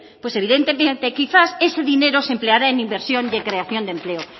pues evidentemente quizás ese dinero se empleará en inversión de creación de empleo